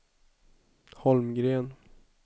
Holmgren